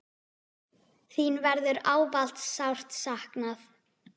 Þín verður ávallt sárt saknað.